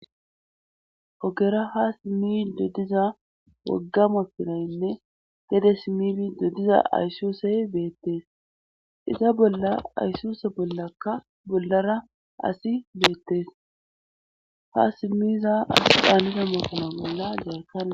ogera ha simmi doddiza woggama pirayynne gede simifi doddiza ayssusey beettes iza bolla aysuse bollakka bollara asi beettes ha simmiza asi daaniza makina bolla gaarkana